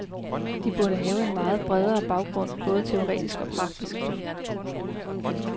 De burde have en meget bredere baggrund både teoretisk og praktisk.